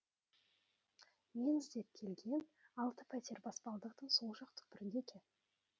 мен іздеп келген алты пәтер баспалдақтың сол жақ түкпірінде екен